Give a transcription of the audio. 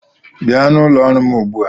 Bịa n'ụlọ ọrụ m ugbu a!